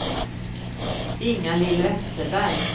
Inga-Lill Westerberg